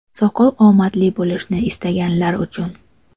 Soqol – omadli bo‘lishni istaganlar uchun.